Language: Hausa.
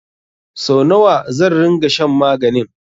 Sau nawa zan ringa shan maganin?